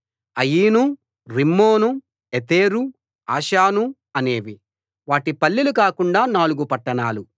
Ain Rimmon Ether Ashan అనేవి వాటి పల్లెలు కాకుండా నాలుగు పట్టణాలు